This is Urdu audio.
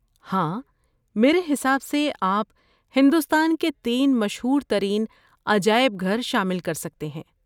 ہاں! میرے حساب سے آپ ہندوستان کے تین مشہور ترین عجائب گھر شامل کر سکتے ہیں۔